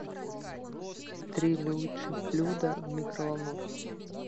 три лучших блюда в микроволновке